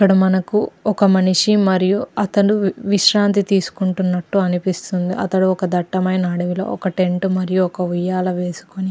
ఇక్కడ మనకు ఒక మనిషి మరియు అతను విశ్రాంతి తీసుకుంటున్నట్టు అనిపిస్తుంది. అతడు ఒక దట్టమైన అడవిలో ఒక టెంట్ మరియు ఒక ఉయ్యాల వేసుకుని --